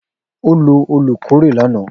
O lo olukore lana.